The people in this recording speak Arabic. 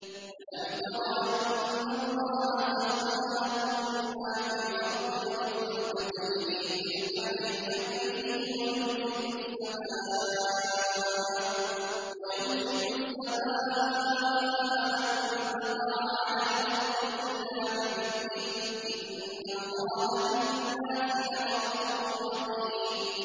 أَلَمْ تَرَ أَنَّ اللَّهَ سَخَّرَ لَكُم مَّا فِي الْأَرْضِ وَالْفُلْكَ تَجْرِي فِي الْبَحْرِ بِأَمْرِهِ وَيُمْسِكُ السَّمَاءَ أَن تَقَعَ عَلَى الْأَرْضِ إِلَّا بِإِذْنِهِ ۗ إِنَّ اللَّهَ بِالنَّاسِ لَرَءُوفٌ رَّحِيمٌ